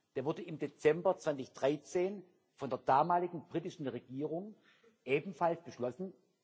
Der wurde im Dezember 2013 von der damaligen britischen Regierung ebenfalls beschlossen